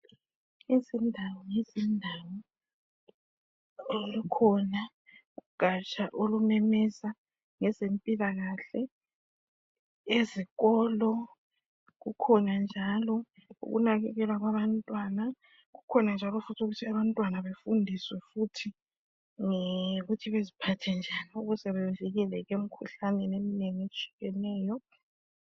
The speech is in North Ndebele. Izindawo lezindawo kukhona ugaja olumemeza ngeze mpilakahle ezikolo kukhona njalo ukunakekelwa kwaba ntwana kukhona njalo ukuthi abantwana befundiswe ukuthi beziphathe njani bevikeleke emkhuhlaneni eminengi etshiyeneyo.